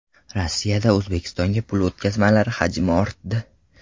Rossiyadan O‘zbekistonga pul o‘tkazmalari hajmi ortdi.